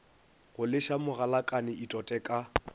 go leša mogalakane itote ka